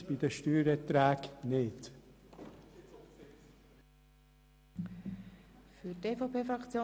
Dies ist mindestens bei den Steuererträgen nicht ersichtlich.